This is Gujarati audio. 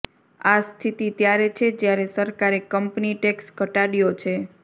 આ સ્થિતિ ત્યારે છે જ્યારે સરકારે કંપની ટેક્સ ઘટાડ્યો છે